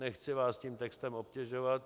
Nechci vás tím textem obtěžovat.